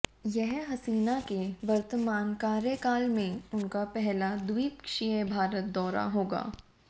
यह हसीना के वर्तमान कार्यकाल में उनका पहला द्वीपक्षीय भारत दौरा होगा